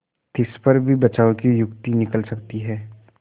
तिस पर भी बचाव की युक्ति निकल सकती है